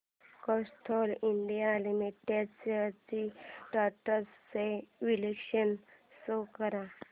Castrol India limited shares trends चे विश्लेषण show कर